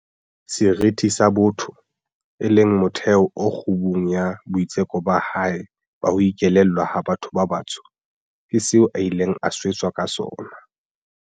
Seriti sa botho, e leng motheo o kgubung ya boitseko ba hae ba ho ikelellwa ha batho ba batsho, ke seo a ileng a swetswa ka sona.